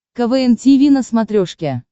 квн тиви на смотрешке